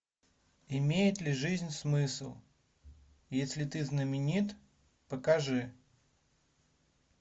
имеет ли жизнь смысл если ты знаменит покажи